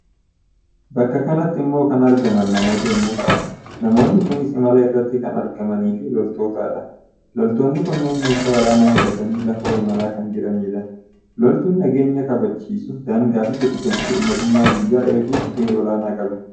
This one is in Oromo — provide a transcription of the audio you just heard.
Bakka kanatti immoo kan argaman namoota yommuu ta'an, namoonni kunis imala irratti kan argamanii fi loltootadha. Loltoonni kunneen meeshaa waraanaa hidhatanii lafoo imala kan jiranidha. Loltuun nageenya kabachiisuu, daangaa fi birmaddummaa biyyaa eeguuf gahee olaanaa qabu.